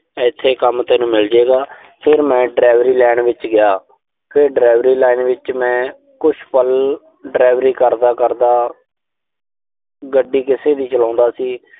ਇਥੇ ਕੰਮ ਤੈਨੂੰ ਮਿਲ ਜੂ ਗਾ। ਫਿਰ ਮੈਂ delivery line ਵਿੱਚ ਗਿਆ। ਫਿਰ delivery line ਵਿੱਚ ਮੈਂ ਕੁਸ਼ ਪਲ, delivery ਕਰਦਾ-ਕਰਦਾ ਗੱਡੀ ਕਿਸੇ ਦੀ ਚਲਾਉਂਦਾ ਸੀ।